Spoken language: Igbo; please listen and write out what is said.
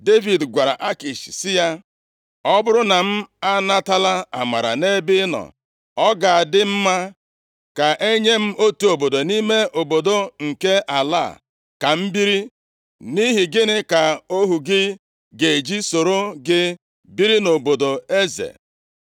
Devid gwara Akish sị ya, “Ọ bụrụ na m anatala amara nʼebe ị nọ, ọ ga-adị mma ka enye m otu obodo nʼime obodo nke ala a, ka m biri. Nʼihi gịnị ka ohu gị ga-eji soro gị biri nʼobodo eze?”